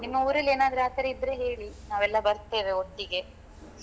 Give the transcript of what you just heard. ನಿಮ್ಮ ಊರಲ್ಲಿ ಏನಾದ್ರು ಆ ತರ ಇದ್ರೆ ಹೇಳಿ ನಾವೆಲ್ಲಾ ಬರ್ತೇವೆ ಒಟ್ಟಿಗೆ .